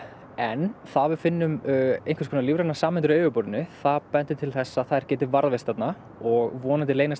en það að við finnum einhvers konar lífrænar sameindir á yfirborðinu það bendir til þess að þær geti varðveist þarna og vonandi reynast